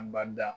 Anbada